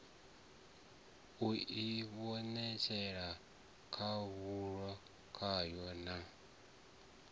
u ivhonetshela khahulo kwayo na